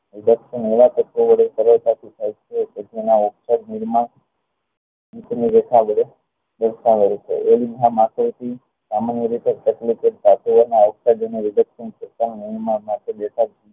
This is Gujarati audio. આલેખન એવા તત્વો વડે કરે નીચેની રેખા વડે દર્શાવાય છે એવી રીતે સામાન્ય રીતે